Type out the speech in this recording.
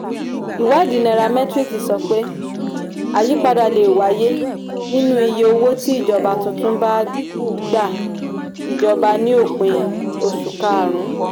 iwadii nairametrics sọ wípé àyípadà lè wáyé nínú iye owó tí ìjọba tuntun bá gba ìjọba ní òpin oṣù karùn-ún.